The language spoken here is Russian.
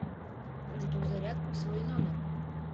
жду зарядку в свой номер